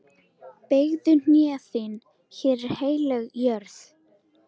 Beygðu hné þín, hér er heilög jörð.